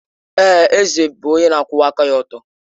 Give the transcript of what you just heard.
Èè, eze bụ nwoke na-akwụwa aka ọtọ.